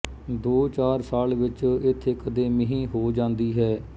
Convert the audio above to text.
ਦੋ ਚਾਰ ਸਾਲ ਵਿੱਚ ਇੱਥੇ ਕਦੇ ਮੀਂਹ ਹੋ ਜਾਂਦੀ ਹੈ